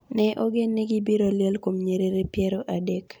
Ne ogen ni gibiro liel kuom nyiriri piero adek